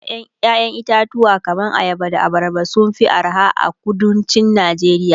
ƴaƴan itatuwa kaman ayaba da abarba sun Fi arha a kuduncin Nigeria